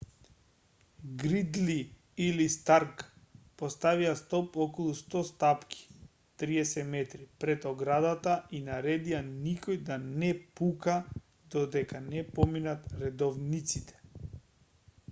гридли или старк поставија столб околу 100 стапки 30 метри пред оградата и наредија никој да не пука додека не поминат редовниците